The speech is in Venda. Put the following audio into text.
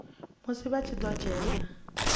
musi vha tshi ḓo dzhena